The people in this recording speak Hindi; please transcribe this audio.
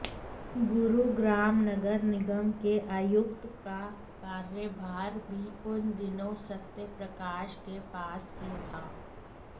गुरुग्राम नगर निगम के आयुक्त का कार्यभार भी उन दिनों सत्यप्रकाश के पास ही था